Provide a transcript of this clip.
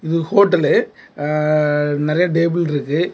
இது ஹோட்டல் ஆ நறைய டேபிள் இருக்கு.